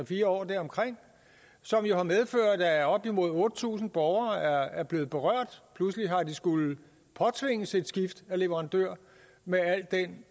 fire år deromkring som jo har medført at op imod otte tusind borgere er blevet berørt pludselig har de skullet påtvinges et skift af leverandør med al den